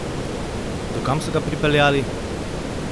Do kam so ga pripeljali?